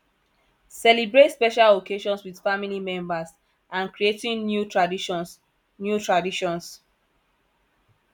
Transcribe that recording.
celebrate special occasions with family members and creating new traditions new traditions